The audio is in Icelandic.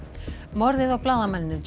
morðið á blaðamanninum